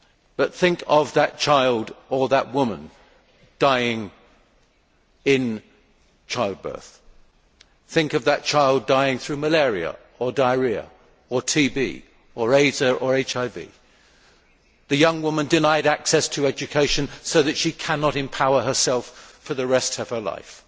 But think of that child or that woman dying in childbirth, think of that child dying through malaria or diarrhoea or TB or AIDS or HIV, and of the young woman denied access to education so that she cannot empower herself for the rest of her life.